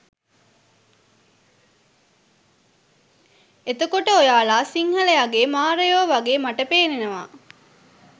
එතකොට ඔයාලා සිංහලයගේ මාරයෝ වගේ මට පෙනෙනවා